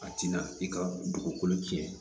A tɛna i ka dugukolo tiɲɛ